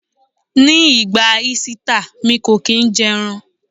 Ní ìgbà Ísítà, mi kò kín ń jẹ́ ẹran.